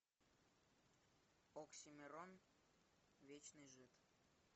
оксимирон вечный жид